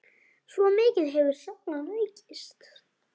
Svo mikið hefur salan aukist.